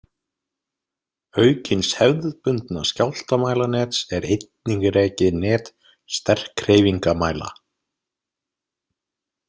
Auk hins hefðbundna skjálftamælanets er einnig rekið net sterkhreyfingamæla.